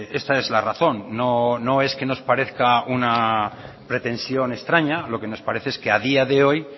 esta es la razón no es que nos parezca una pretensión extraña lo que nos parece es que a día de hoy